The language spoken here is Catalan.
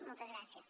moltes gràcies